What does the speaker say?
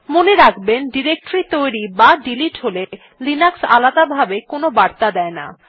মনে রাখবেন ডিরেক্টরী তৈরী বা ডিলিট হলে লিনাক্স আলাদাভাবে কোনো বার্তা দেয় না